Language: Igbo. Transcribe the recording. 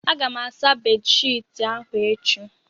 Aga m asa bedshiti ahụ echi